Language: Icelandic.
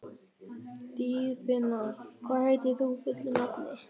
Dýrfinna, hvað heitir þú fullu nafni?